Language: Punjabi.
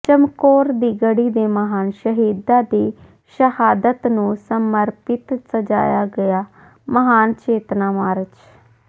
ਚਮਕੌਰ ਦੀ ਗੜੀ ਦੇ ਮਹਾਨ ਸ਼ਹੀਦਾਂ ਦੀ ਸ਼ਹਾਦਤ ਨੂੰ ਸਮਰਪਿਤ ਸਜਾਇਆ ਗਿਆ ਮਹਾਨ ਚੇਤਨਾ ਮਾਰਚ